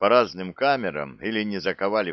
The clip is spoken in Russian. по разным камерам или не заковали